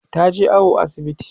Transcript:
taje awo asibiti